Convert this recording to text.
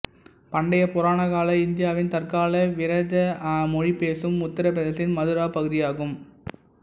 பண்டைய புராண கால இந்தியாவின் தற்கால விரஜ மொழி பேசும் உத்தரப் பிரதேசத்தின் மதுரா பகுதியாகும்